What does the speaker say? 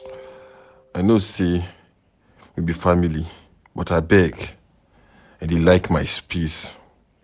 I know sey we be family but abeg, I dey like my space.